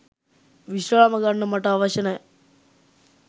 විශ්‍රාම ගන්න මට අවශ්‍ය නෑ